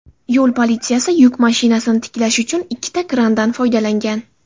Yo‘l politsiyasi yuk mashinasini tiklash uchun ikkita krandan foydalangan.